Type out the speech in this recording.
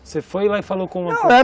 Você foi lá e falou com não, é